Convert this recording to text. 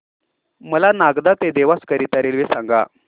मला नागदा ते देवास करीता रेल्वे सांगा